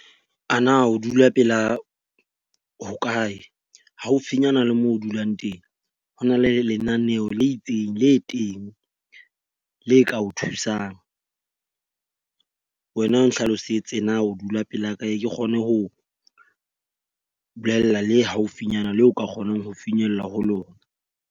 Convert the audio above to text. A na o dula pela hokae? Haufinyana le moo o dulang teng ho na le lenaneo le itseng le teng le ka o thusang. Wena o nhlalosetse na o dula pela kae ke kgone ho bolella le haufinyana le o ka kgonang ho finyella ho lona.